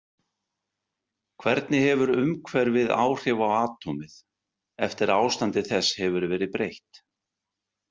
Hvernig hefur umhverfið áhrif á atómið eftir að ástandi þess hefur verið breytt?